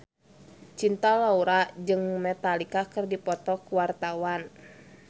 Cinta Laura jeung Metallica keur dipoto ku wartawan